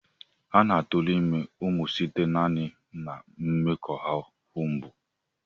A na-aturu ime umu site naani na mmekoahu mbụ.